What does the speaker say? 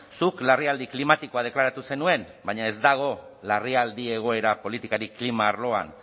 zuk larrialdi klimatikoa deklaratu zenuen baina ez dago larrialdi egoera politikarik klima arloan